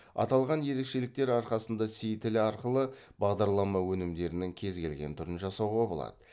аталған ерекшеліктер арқасында си тілі арқылы бағдарлама өнімдерінің кез келген түрін жасауға болады